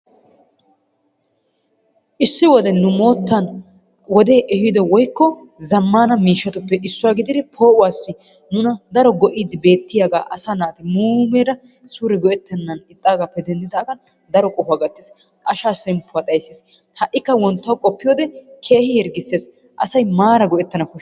Issi wode nu moottan wodee ehido woyikko zammaana miishshatuppe issuwa gididi poo'uwassi nuna daro go'iiddi bettiyagaa asaa naati muumeera suure go'ettennaagaappe denddidaagan daro qohuwa gattiis. Asaa shemppuwa xayissis. Ha'ikka wonttuwa qoppiyode keehi hirggisses. Asay maara go'ettana koshshes.